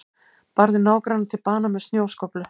Barði nágrannann til bana með snjóskóflu